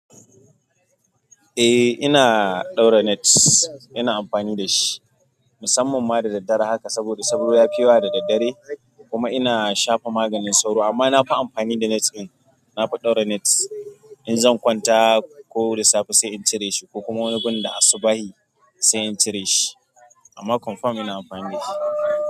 Eh, ina ɗaura net. Ina amfani da shi musamman ma da daddare haka saboda sauro ya fi yawa da daddare kuma ina shafa maganin sauro amma na fi amfani da net ɗin. Nafi ɗauka net in zan kwanta koda safe sai in cire ko kuma wani gun da asubashi sai in cire shi amma confirm ina amfani da shi.